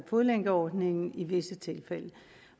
fodlænkeordningen i visse tilfælde